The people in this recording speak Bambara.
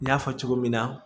N y'a fɔ cogo min na